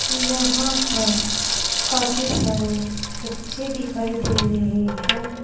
यहां पर काफी सारे बच्चे दिखाई दे रहे हैं।